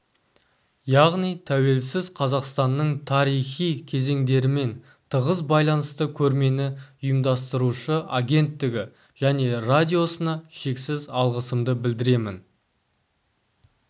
яғни тәуелсіз қазақстанның тарихи кезеңдерімен тығыз байланысты көрмені ұйымдастырушы агенттігі және радиосына шексіз алғысымды білдіремін